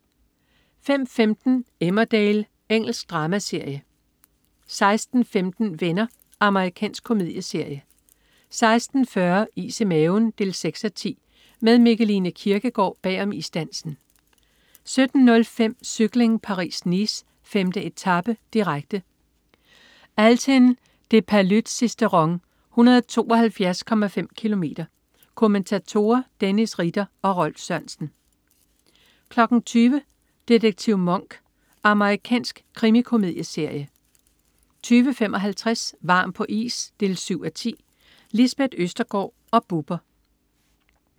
05.15 Emmerdale. Engelsk dramaserie 16.15 Venner. Amerikansk komedieserie 16.40 Is i maven 6:10. Med Mikkeline Kierkgaard bag om isdansen 17.05 Cykling: Paris-Nice. 5. etape, direkte. Althen-des-Paluds-Sisteron, 172,5 km. Kommentatorer: Dennis Ritter og Rolf Sørensen 20.00 Detektiv Monk. Amerikansk krimikomedieserie 20.55 Varm på is 7:10. Lisbeth Østergaard og Bubber